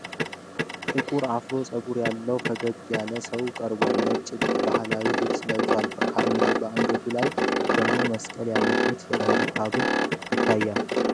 ጥቁር አፍሮ ፀጉር ያለው ፈገግታ ያለው ሰው ቀርቧል። ነጭ ባህላዊ ልብስ ለብሷል፣ በአንገቱ ላይ ደግሞ መስቀል ያለበት የአንገት ሐብል ይታያል።